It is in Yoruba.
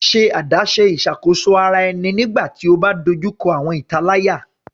Ṣe adaṣe iṣakoso ara ẹni nigbati o ba dojuko awọn italaya